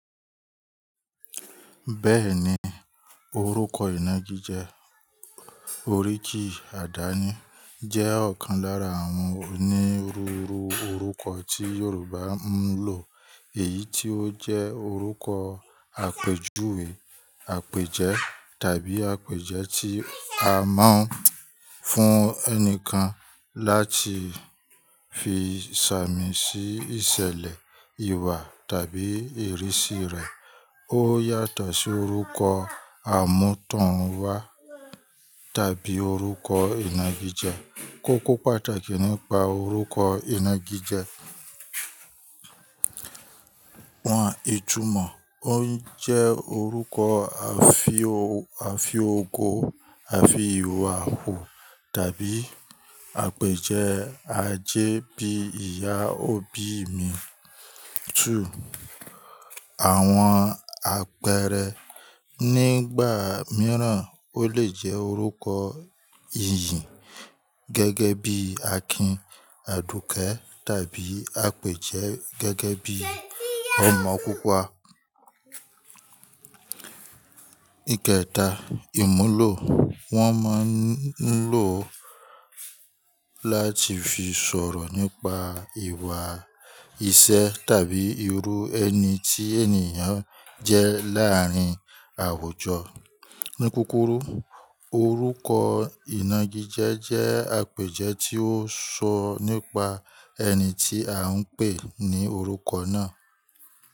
Bẹ́ẹ̀ni, orúkọ ìnagijẹ, oríki àdáni jẹ́ ọ̀kan lára àwọn onírúurú orúkọ tí Yorùbá ń lò. Èyí tí ó jẹ́ orúkọ àpèjúwe, àpèjẹ́ tàbí àpèjẹ́ tí a máa ń fún ẹnìkan láti fi sàmì sí ìṣẹ̀lẹ̀, ìwà tàbí ìrísí rẹ̀. Ó yàtọ̀ sí orúkọ àmútọ̀runwá tàbí orúkọ ìnagijẹ. Kókó pàtàkì nípa orúkọ ìnagijẹ, wọ́n ìtùmọ̀ ó ń jẹ́ orúkọ àfi ó-- àfiòko, àfi ìwà hu tàbí àpèjẹ́ ajé bíi ìyá òbí mi 2. Àwọn àpẹẹrẹ nígbà mìíràn ó lè jẹ́ orúkọ ìyìn gẹ́gẹ́ bí Akin, Aduke tàbí àpèjẹ́ gẹ́gẹ́ bí Ọ̀mọ́púpa. Ìkẹta, ìmúlò wọ́n máa ń lò ó láti fi sọ̀rọ̀ nípa ìwà, ìṣe tàbí irú ẹni tí ènìyàn jẹ́ láàárín àwùjọ. Ní kúkúrù orúkọ ìnagijẹ jẹ́ àpèjẹ́ tí ó ń sọ nípa ẹni tí a ń pè ní orúkọ náà.